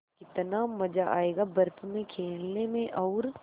कितना मज़ा आयेगा बर्फ़ में खेलने में और